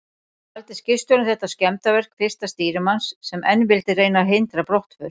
Taldi skipstjórinn þetta skemmdarverk fyrsta stýrimanns, sem enn vildi reyna að hindra brottför.